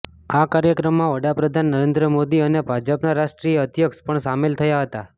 આ કાર્યક્રમમાં વડાપ્રધાન નરેન્દ્ર મોદી અને ભાજપના રાષ્ટ્રીય અધ્યક્ષ પણ શામેલ થયા હતાં